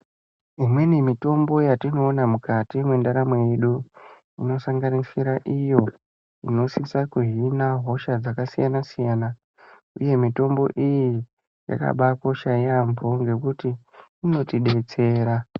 Imweni mitombo yatinoona mukati mwendaramo yedu inosanganisira iyo inosisa kuhina hosha dzakasiyana siyana uye mitombo iyi yakabakosha yaampho ngekuti inotidetsera.